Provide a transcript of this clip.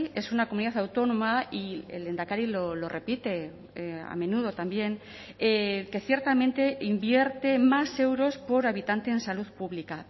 es una comunidad autónoma y el lehendakari lo repite a menudo también que ciertamente invierte más euros por habitante en salud pública